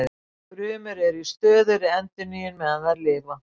Frumur eru í stöðugri endurnýjun meðan þær lifa.